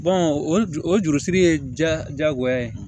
o ju o jurusiri ye jagoya ye